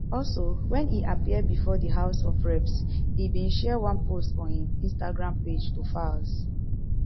also wen e appear before di house of reps e bin share one post on im instagram page to falz